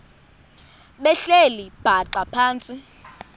behleli bhaxa phantsi